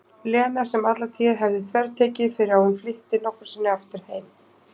Lena sem alla tíð hafði þvertekið fyrir að hún flytti nokkru sinni aftur heim.